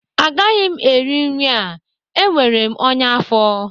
Agaghị m eri nri a enwere m ọnya afọ